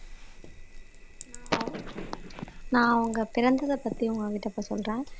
நான் அவங்க பிறந்ததைப் பத்தி உங்க கிட்ட இப்ப சொல்றேன்